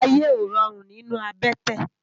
Àyé ó ròrún ninú àbètè